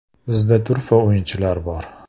“Bizda turfa o‘yinchilar bor.